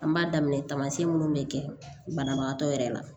An b'a daminɛ tamasiyɛn minnu be kɛ banabagatɔ yɛrɛ la